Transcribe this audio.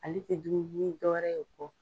Ale tɛ dumuni dɔwɛrɛ y'o kɔ